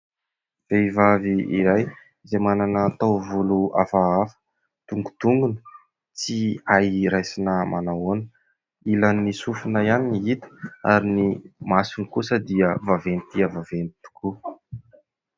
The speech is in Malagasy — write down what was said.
Vehivavy iray izay manana taovolo hafahafa. Dongodongona tsy hay raisina manahoana. Ilan'ny sofina ihany ny hita ary ny masony kosa dia vaventy dia vaventy tokoa.